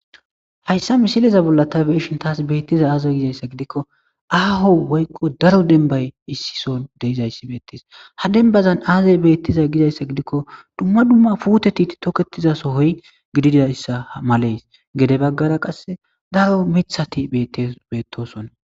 hayssa misileza bolla ta beeshin taas beettiza aazey gizayssa gidikko aaho woykqo daro denbay issison deizayssi beettes ha denbazan aazay beettiza gizayssa gidikko dumma dumma puute tiit toketizaso hoy gididayssa malees gede baggara qasse daro mithati ete beettosonna